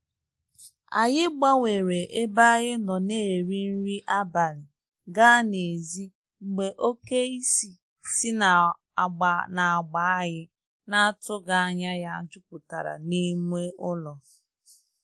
Anyi gbanwere ebe anyi nọ n' eri nrị abalị ga n'ezi, mgbe oke isì si n'agba n'agba anyị na-atụghi anya ya jupụtara n'ime ụlọ.